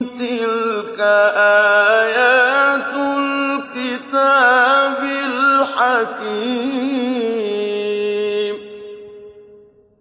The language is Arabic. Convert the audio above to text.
تِلْكَ آيَاتُ الْكِتَابِ الْحَكِيمِ